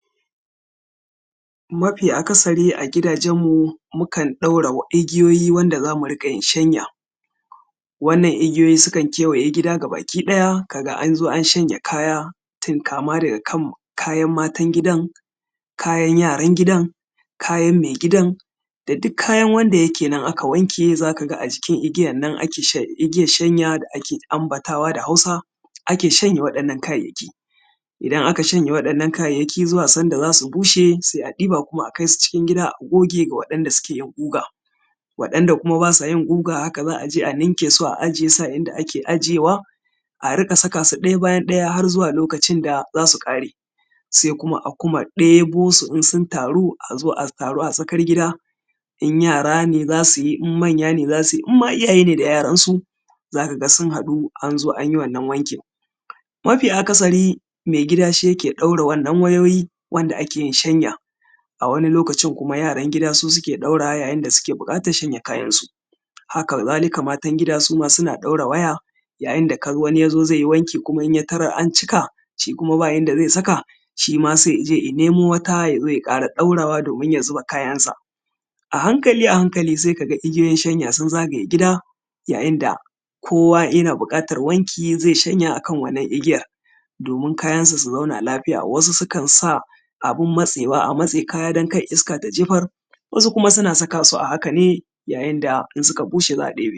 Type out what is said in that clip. Mafi akasari a gidajenmu mukan ɗaura igiyoyi wanda za mu riƙa yin shanya. Wannan igiyoyi sukan kewaye gida gaba-ki-ɗaya, ka ga an zo an shanya kaya, kama daga kayan matan gidan, kayan yaran gidan, kayan mai gidan da duk kayan wanda yake nan aka wanke za ka ga a jikn igiyan nan ake shan igiyan shanya da ake anbatawa da Hausa ake shanya waɗannan kayayyaki.. Idan aka shanya waɗannan kayayyaki zuwa san da za su bushe, sai a ɗiba kuma a kai su cikin gida a goge ga waɗanda suke yin guga. Waɗanda kuma ba sa yin guga haka kuma za a je a ninke su a ajiye su a inda ake ajiyewa, a rinƙa ajiye su ɗaya bayan ɗaya har zuwa lokacin da za su ƙare. Sai kuma a kuma ɗebo su in sun taru a zo a taru a tsakar gida, in yara ne za su yi, in manya ne za su yi, in mata iyaye ne da yaransu, za ka ga sun haɗu an zo an yi wannan wankin. Mafi akasari mai gida shi ke ɗaura wannan wayoyi wanda ake yin shanya. a wani lokacin kuma yaran gida su suke ɗaurawa yayin da suke buƙatar shanya kayansu. Haka kazalika ma matan gida su ma suna ɗaura waya, yayin da wani ya zo zai yi wanki ya tarar an cika. Shi kuma ba inda zai saka, shi ma saI ya ce ya nemo wata ya ƙara ɗaurawa domin ya zuba kayansa. A hankali a hankali sai ka ga igiyoyin shanya sun zagaye gida, yayin da kowa yana buƙatar wanki zai shanya a kan wannan igiyar, domin kayansa su zauna lafiya. Wasu sukan sa abin matsewa: a matse kaya dan kar iska ta jefar, wasu kuma sukan sa su a haka ne yayin da idan suka bushe za a ɗebe.